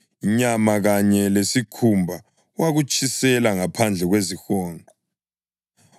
Inyama kanye lesikhumba wakutshisela ngaphandle kwezihonqo.